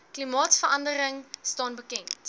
klimaatverandering staan bekend